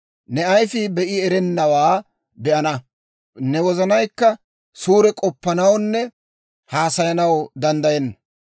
Ne ayifii be'i erennawaa be'ana; ne wozanaykka suure k'oppanawunne haasayanaw danddayenna.